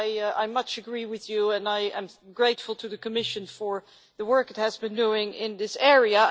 Commissioner, I much agree with you and I am grateful to the Commission for the work it has been doing in this area.